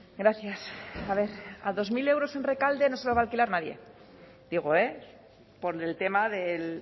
gracias a ver a dos mil euros en rekalde no se lo va a alquilar nadie digo eh por el tema del